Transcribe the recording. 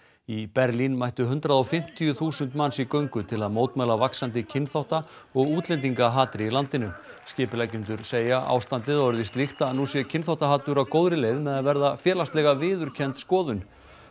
í Berlín mættu hundrað og fimmtíu þúsund manns í göngu til þess að mótmæla vaxandi kynþátta og útlendingahatri í landinu skipuleggjendur segja ástandið orðið slíkt að nú sé kynþáttahatur á góðri leið með að verða félagslega viðurkennd skoðun